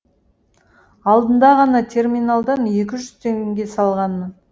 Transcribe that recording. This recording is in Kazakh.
алдында ғана терминалдан екі жүз теңге салғанмын